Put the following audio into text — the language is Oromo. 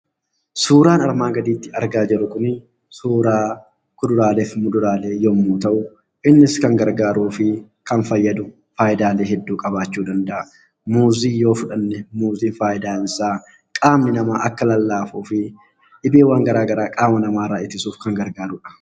Suuraan armaan gadiitti argaa jirru kunii suuraa kuduraaleef muduraalee yemmuu ta'u innis kan gargaaruu fi kan fayyadu faayidaalee hedduu qabaachuu danda'a. Muuzii yoo fudhanne muuziin faayidaansaa qaamni namaa akka lallaafuu fi dhibeewwan gara garaa qaama namaarraa ittisuuf kan gargaarudha.